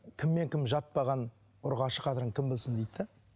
кіммен кім жатпаған ұрғашы қадірін кім білсін дейді де